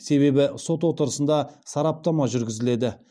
себебі сот отырысында сараптама жүргізіледі